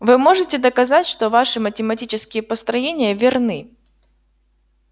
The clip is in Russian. вы можете доказать что ваши математические построения верны